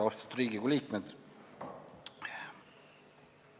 Austatud Riigikogu liikmed!